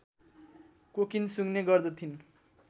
cocaine सुँघ्ने गर्दथिन्